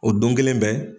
O don kelen bɛɛ